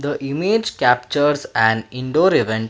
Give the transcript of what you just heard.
The image captures an indoor event.